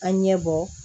An ɲɛ bɔ